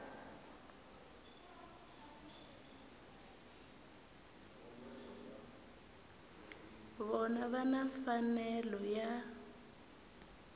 vona va na mfanelo ya